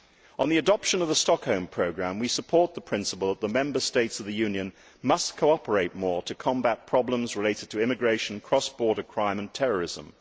On the adoption of the Stockholm Programme, we support the principle that the Member States of the Union must cooperate more to combat problems related to immigration, cross border crime and terrorism.